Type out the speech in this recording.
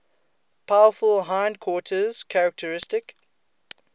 powerful hindquarters characteristic